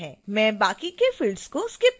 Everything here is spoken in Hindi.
मैं बाकी के fields को skip करूंगी